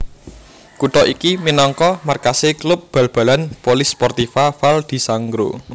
Kutha iki minangka markasé klub bal balan Polisportiva Val di Sangro